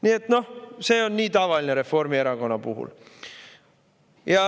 Nii et noh, see on nii tavaline Reformierakonna puhul.